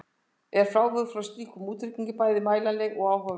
En frávik frá slíkum útreikningum eru bæði mælanleg og áhugaverð.